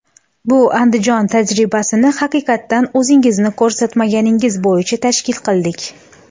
Bu Andijon tajribasini haqiqatan o‘zingizni ko‘rsatmangiz bo‘yicha tashkil qildik.